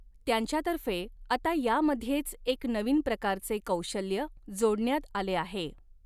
त्यांच्यातर्फे आता यामध्येच एक नवीन प्रकारचे कौशल्य जोडण्यात आले आहे.